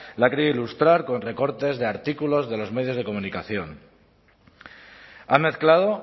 la ha querido ilustrar con recortes de artículos de los medios de comunicación ha mezclado